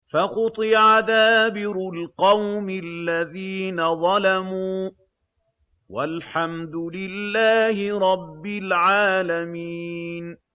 فَقُطِعَ دَابِرُ الْقَوْمِ الَّذِينَ ظَلَمُوا ۚ وَالْحَمْدُ لِلَّهِ رَبِّ الْعَالَمِينَ